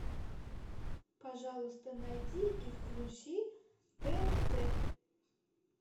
пожалуйста найди и включи тнт